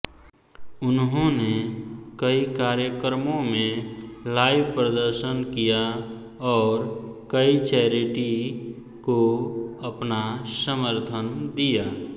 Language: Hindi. उन्होंने कई कार्यक्रमों में लाइव प्रदर्शन किया और कई चैरिटी को अपना समर्थन दिया